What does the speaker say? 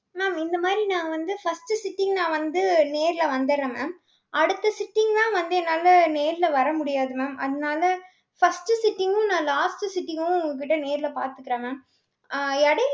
mam இந்த மாதிரி நான் வந்து, first sitting நான் வந்து, நேர்ல வந்தர்றேன் mam அடுத்த sitting லாம் வந்து என்னால நேர்ல வர முடியாது mam அதனால, first sitting உம் நான் last sitting உம் உங்க கிட்ட நேர்ல பார்த்துக்கறேன் mam. அஹ் இடையி~